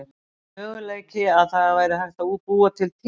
Er möguleiki að það væri hægt að búa til tímavél?